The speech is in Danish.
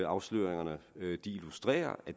afsløringerne illustrerer og